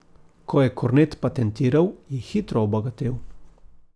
Ko je kornet patentiral, je hitro obogatel.